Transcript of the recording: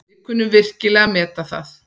Við kunnum virkilega að meta það.